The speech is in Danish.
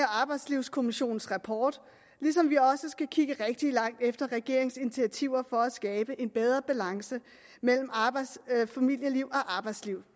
og arbejdslivskommissionens rapport ligesom vi også skal kigge rigtig langt efter regeringens initiativer for at skabe en bedre balance mellem familieliv og arbejdsliv